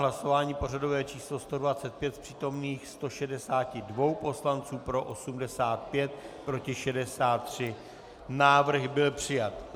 Hlasování pořadové číslo 125, z přítomných 162 poslanců pro 85, proti 63, návrh byl přijat.